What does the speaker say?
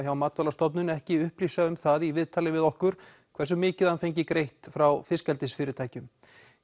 hjá Matvælastofnun ekki upplýsa um það í viðtali við okkur hversu mikið hann fengi greitt frá fiskeldisfyrirtækjum